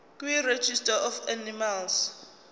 kuregistrar of animals